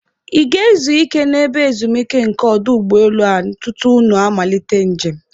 Ị ga- ezu ike n'ebe ezumike nke ọdụ ụgbọelu a tutu unu malite njem unu?